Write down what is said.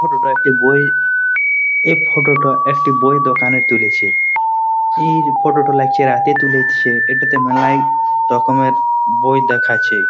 Photo টা একটি বই। এই ফটো টা একটি বই দোকানের তুলেচে। ইর ফটো টা লাগছে রাতে তুলেছে। এটাতে মেলাই রকমের বই দেখাচ্ছে ।